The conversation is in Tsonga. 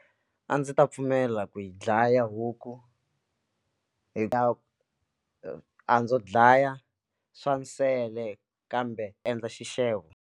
A ndzi ta pfumela ku yi dlaya huku hi ta a ndzo dlaya swa nsele kambe endla xixevo.